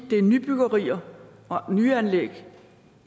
til nybyggerier og nye anlæg